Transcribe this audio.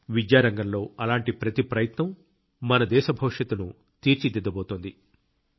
విద్యా రంగంలో అలాంటి ప్రతి ప్రయత్నం మన దేశ భవిష్యత్తును తీర్చిదిద్దబోతోంది